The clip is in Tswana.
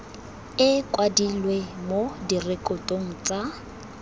e kwadilwe mo direkotong tsa